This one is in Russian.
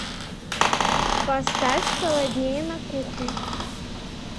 поставь холоднее на кухне